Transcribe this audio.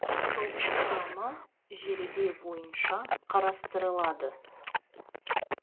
топ құрамы жеребе бойынша қарастырылады